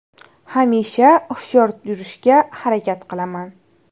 Hamisha hushyor yurishga harakat qilaman.